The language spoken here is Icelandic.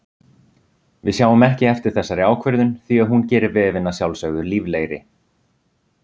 Við sjáum ekki eftir þessari ákvörðun því að hún gerir vefinn að sjálfsögðu líflegri.